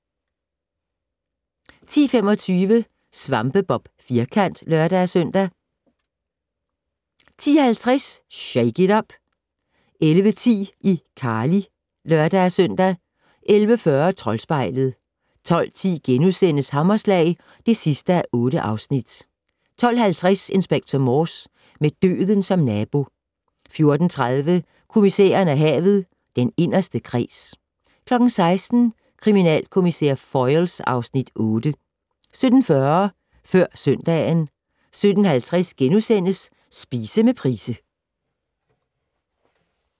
10:25: SvampeBob Firkant (lør-søn) 10:50: Shake it up! 11:10: iCarly (lør-søn) 11:40: Troldspejlet 12:10: Hammerslag (8:8)* 12:50: Inspector Morse: Med døden som nabo 14:30: Kommissæren og havet: Den inderste kreds 16:00: Kriminalkommissær Foyle (Afs. 8) 17:40: Før søndagen 17:50: Spise med Price *